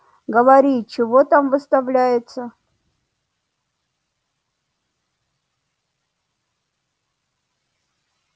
говори чего там выставляется